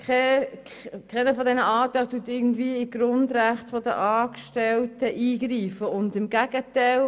Keine einzige dieser Anträge greift in die Grundrechte der Angestellten ein, im Gegenteil: